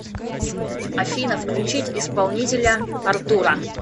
афина включить исполнителя артура